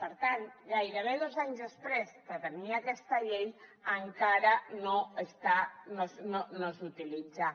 per tant gairebé dos anys després de tenir aquesta llei encara no s’utilitza